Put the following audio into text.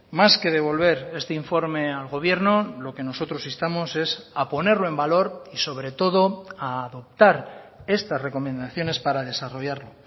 más que devolver este informe al gobierno lo que nosotros instamos es a ponerlo en valor y sobre todo a adoptar estas recomendaciones para desarrollarlo